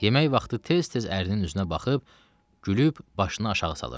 Yemək vaxtı tez-tez ərinin üstünə baxıb, gülüb başını aşağı salırdı.